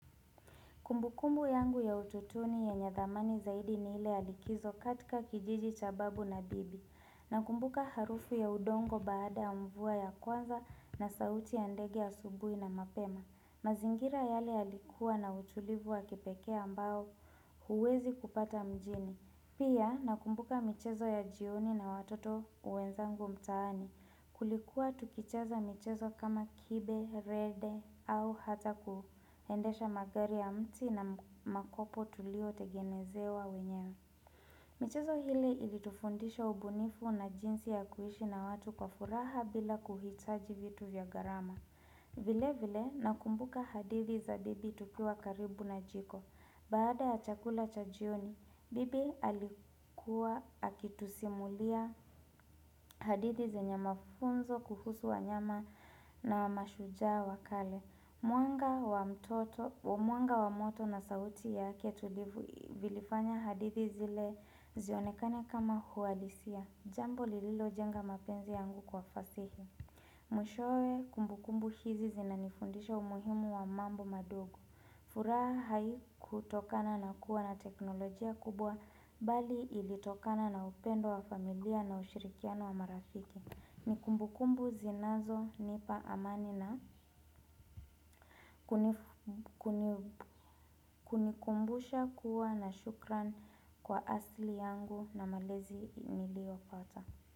Kumbukumbu yangu ya utotoni yenye thamani zaidi ni ile ya likizo katika kijiji cha babu na bibi. Nakumbuka harufu ya udongo baada ya mvua ya kwanza na sauti ya ndege ya asubuhi na mapema. Mazingira yale yalikua na utulivu wa kipekee ambao huwezi kupata mjini. Pia nakumbuka michezo ya jioni na watoto wezangu mtaani. Kulikuwa tukicheza michezo kama kibe, rede au hata kuendesha magari ya mti na makopo tulio tegenezewa wenyewe michezo hili ilitufundisha ubunifu na jinsi ya kuishi na watu kwa furaha bila kuhitaji vitu vya gharama vile vile nakumbuka hadithi za bibi tukiwa karibu na jiko Baada ya chakula cha jioni, bibi alikuwa akitusimulia hadithi zenye mafunzo kuhusu wanyama na mashujaa wa kale. Mwanga wa moto na sauti yake tulivu vilifanya hadithi zile zionekane kama huadisia. Jambo lililojenga mapenzi yangu kwa fasihi. Mwishoe kumbukumbu hizi zinanifundisha umuhimu wa mambo madogo. Furaha haikutokana na kuwa na teknolojia kubwa bali ilitokana na upendo wa familia na ushirikiano wa marafiki. Nikumbukumbu zinazonipa amani na hunikumbusha kuwa na shukran kwa asili yangu na malezi niliyopata.